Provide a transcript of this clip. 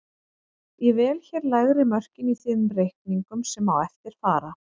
Ég vel hér lægri mörkin í þeim reikningum sem á eftir fara.